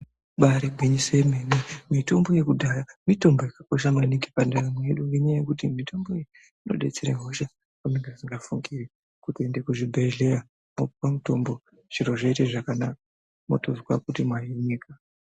Ibari gwinyiso remene mitombo yekudhaya mitombo yakakosha maningi pandaramo yedu ngekuti mitombo iyi inodetsera hosha dzamusingafungiri nekuenda kuchibhedhlera vokupa mutombo zviro zvoita zvakanaka wotozwa kuti ndahinika.